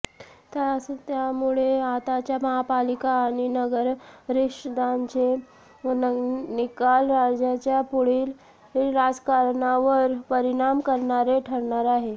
त्यामुळेच आताच्या महापालिका आणि नगरपरिषदांचे निकाल राज्याच्या पुढील राजकारणावर परिणाम करणारे ठरणार आहेत